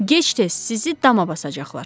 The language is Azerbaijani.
Gec-tez sizi dama basacaqlar.